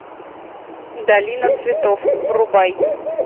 долина цветов врубай